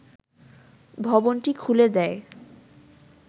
ভবনটি খুলে দেয়